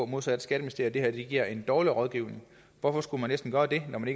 modsat skatteministeriet at det her giver en dårlig rådgivning hvorfor skulle man næsten gøre det når man